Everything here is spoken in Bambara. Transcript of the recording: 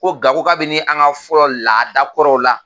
Ko nka ko kabini an ka fɔlɔ laadakɔrɔw la